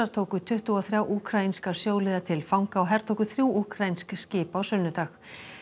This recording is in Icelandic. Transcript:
tóku tuttugu og þrjá úkraínska sjóliða til fanga og hertóku þrjú úkraínsk skip á sunnudag